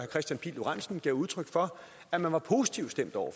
kristian pihl lorentzen gav udtryk for at man var positivt stemt over